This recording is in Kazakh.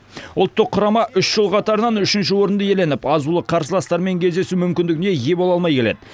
ұлттық құрама үш жыл қатарынан үшінші орынды иеленіп азулы қарсыластармен кездесу мүмкіндігіне ие бола алмай келеді